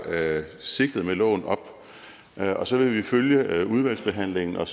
sigtet med loven op og så vil vi følge udvalgsbehandlingen og